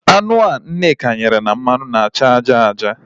Anụ ahụ Nneka ghere na mmanụ na-acha aja aja